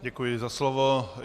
Děkuji za slovo.